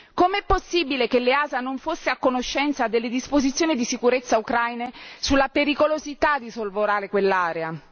Com'è possibile che l'EASA non fosse a conoscenza delle disposizioni di sicurezza ucraine sulla pericolosità di sorvolare quell'area?